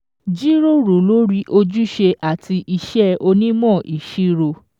Jíròrò lórí ojúṣe àti iṣẹ́ onímọ̀ ìṣirò.